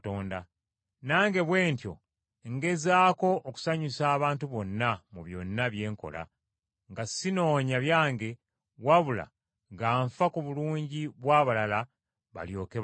Nange bwe ntyo ngezaako okusanyusa abantu bonna mu byonna bye nkola, nga sinoonya byange, wabula nga nfa ku bulungi bw’abalala balyoke balokolebwe.